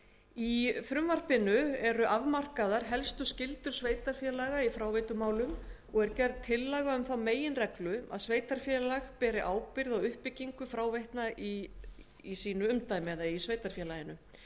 í þessu frumvarpi til laga um uppbyggingu og rekstur fráveitna eru afmarkaðar helstu skyldur sveitarfélaga í fráveitumálum og er gerð tillaga um þá meginreglu að sveitarfélag beri ábyrgð á uppbyggingu fráveitna í sveitarfélaginu